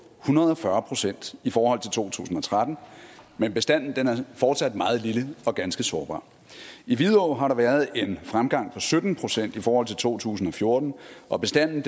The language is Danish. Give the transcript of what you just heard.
hundrede og fyrre procent i forhold til to tusind og tretten men bestanden er fortsat meget lille og ganske sårbar i vidå har der været en fremgang på sytten procent i forhold til to tusind og fjorten og bestanden